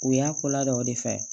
U y'a ko la dɔ o de fɛ